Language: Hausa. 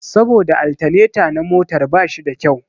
Saboda altaneta na motar ba shi da kyau